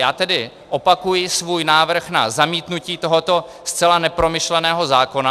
Já tedy opakuji svůj návrh na zamítnutí tohoto zcela nepromyšleného zákona.